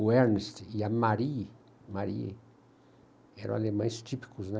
O Ernest e a Marie, Marie, eram alemães típicos, né?